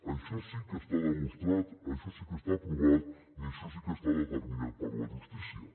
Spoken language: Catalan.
això sí que està demostrat això sí que està provat i això sí que està determinat per la justícia